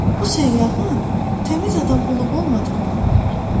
Bu səyyahın təmiz adam olub-olmadığını öyrənir.